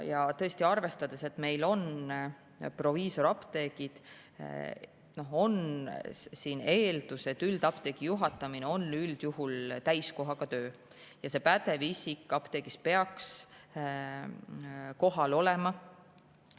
Ja tõesti arvestades, et meil on proviisoriapteegid, on eeldus, et üldapteegi juhatamine on üldjuhul täiskohaga töö ja see pädev isik apteegis peaks kohal olema.